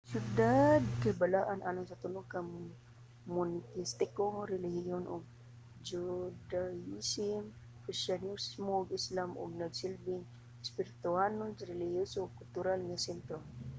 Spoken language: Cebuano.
ang siyudad kay balaan alang sa tulo ka monoteistikong relihiyon - ang judaism kristiyanismo ug islam ug nagsilbing espirituhanon relihiyoso ug kultural nga sentro